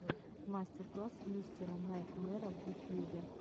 мастер класс мистера найтмэра в ютьюбе